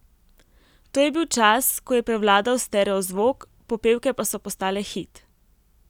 To je bil čas, ko je prevladal stereozvok, popevke pa so postale hit.